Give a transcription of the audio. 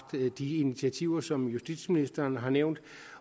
taget de initiativer som justitsministeren har nævnt